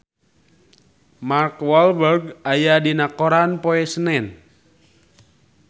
Mark Walberg aya dina koran poe Senen